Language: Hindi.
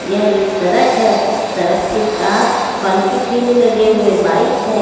यह एक सड़क है सड़क के पास फल की ठेले लगे हुए बाइक है।